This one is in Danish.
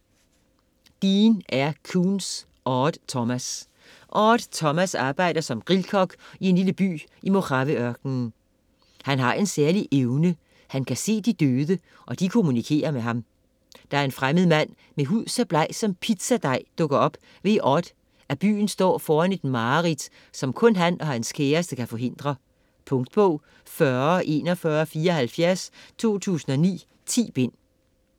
Koontz, Dean R.: Odd Thomas Odd Thomas arbejder som grillkok i en lille by i Mojaveørkenen. Han har en særlig evne, han kan se de døde og de kommunikerer med ham. Da en fremmed mand med en hud så bleg som pizzadej dukker op, ved Odd, at byen står foran et mareridt, som kun han og hans kæreste kan forhindre. Punktbog 404174 2009. 10 bind.